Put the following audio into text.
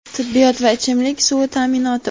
tibbiyot va ichimlik suvi ta’minoti.